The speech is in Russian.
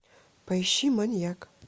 поищи маньяк